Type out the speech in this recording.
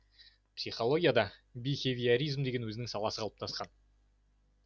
психологияда бихевиоризм деген өзінің саласы қалыптасқан